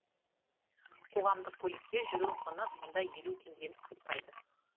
қоғамдық көлікте жүру құны мұнда елу теңгеден аспайды